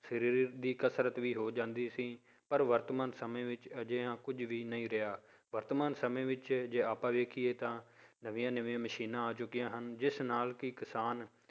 ਸਰੀਰ ਦੀ ਕਸ਼ਰਤ ਵੀ ਹੋ ਜਾਂਦੀ ਸੀ, ਪਰ ਵਰਤਮਾਨ ਸਮੇਂ ਵਿੱਚ ਅਜਿਹਾ ਕੁੱਝ ਵੀ ਨਹੀਂ ਰਿਹਾ, ਵਰਤਮਾਨ ਸਮੇਂ ਵਿੱਚ ਜੇ ਆਪਾਂ ਵੇਖੀਏ ਤਾਂ ਨਵੀਆਂ ਨਵੀਂਆਂ ਮਸ਼ੀਨਾਂ ਆ ਚੁੱਕੀਆਂ ਹਨ ਜਿਸ ਨਾਲ ਕਿ ਕਿਸਾਨ